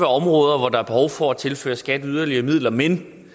områder hvor der er behov for at tilføre skat yderligere midler men